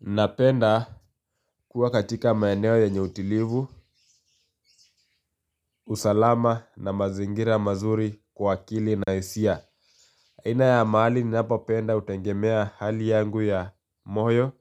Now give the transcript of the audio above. Napenda kuwa katika maeneo yenye utilivu, usalama na mazingira mazuri kwa akili na isia. Aina ya mahali ninapopenda utengemea hali yangu ya moyo,